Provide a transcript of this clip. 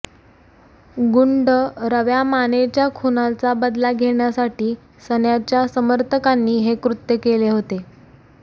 गुंड रव्या मानेच्या खुनाचा बदला घेण्यासाठी सन्याच्या समर्थकांनी हे कृत्य केले होते